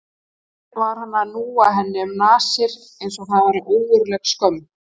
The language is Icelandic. Hver var hann að núa henni því um nasir eins og það væri ógurleg skömm?